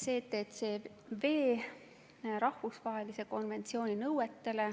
rahvusvahelise STCW konventsiooni nõuetele.